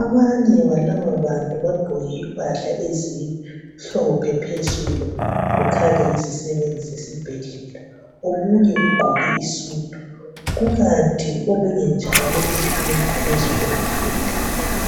abanye belabobantu bangqoke impahla ezimhlophe phezulu kukhanya yizisebenzi zasesibhedlela omunye ugqoke isudu kukant omunye njalo uhleli phezulu kombheda